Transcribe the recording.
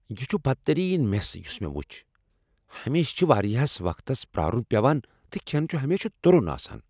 یہ چھٗ بدترین میس یٗس مے٘ وٗچھ ۔ ہمیشہٕ چھ ٗوارِیاہس وقتس پرارٗن پیوان تہٕ كھین چھٗ ہمیشہِ ترُن آسان ۔